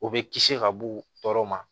O bɛ kisi ka bɔ tɔɔrɔ ma